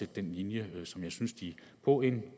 den linje som jeg synes de på en